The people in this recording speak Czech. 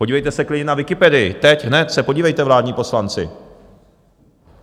Podívejte se klidně na Wikipedii, teď hned se podívejte, vládní poslanci.